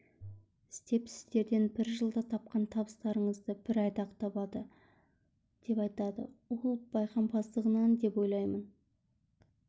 істеп сіздердің бір жылда тапқан табыстарыңызды бір айда-ақ табады деп айтады ол байқампаздығынан деп ойлаймын